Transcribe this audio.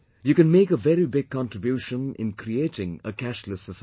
You can make a very big contribution in creating a cashless society